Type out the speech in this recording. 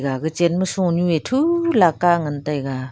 ga gachen ma sonue thulaka ngan taiga.